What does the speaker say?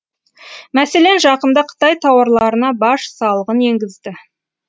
мәселен жақында қытай тауарларына баж салығын енгізді